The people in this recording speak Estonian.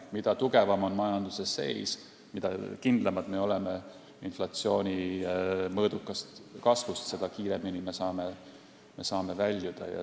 Mida tugevam on majanduse seis, mida kindlamad me oleme inflatsiooni mõõdukas kasvus, seda kiiremini me saame väljuda.